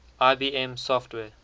ibm software